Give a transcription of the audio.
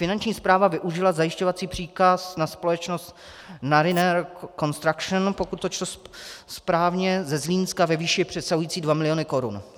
Finanční správa využila zajišťovací příkaz na společnost Naryner Construction, pokud to čtu správně, ze Zlínska ve výši přesahující 2 miliony korun.